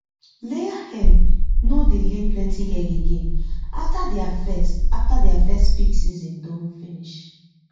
layer hen no dey lay plenty egg again after their first after their first peak season don finish